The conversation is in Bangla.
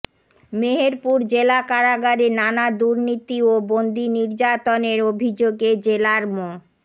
মেহেরপুর জেলা কারাগারে নানা দুর্নীতি ও বন্দি নির্যাতনের অভিযোগে জেলার মো